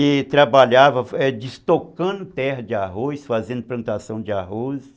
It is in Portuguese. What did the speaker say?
E trabalhava, é, destocando terra de arroz, fazendo plantação de arroz.